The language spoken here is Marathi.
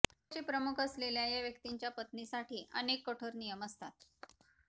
देशाचे प्रमुख असलेल्या या व्यक्तींच्या पत्नीसाठी अनेक कठोर नियम असतात